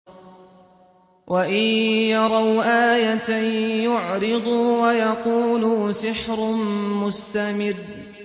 وَإِن يَرَوْا آيَةً يُعْرِضُوا وَيَقُولُوا سِحْرٌ مُّسْتَمِرٌّ